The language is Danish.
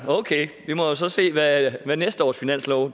okay vi må så se hvad hvad næste års finanslov